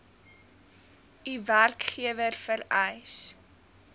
u werkgewer vereis